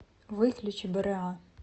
выключи бра